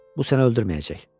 Bu sənə öldürməyəcək.